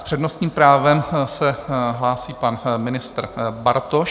S přednostním právem se hlásí pan ministr Bartoš.